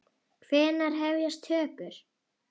Hvenær hefjast tökur?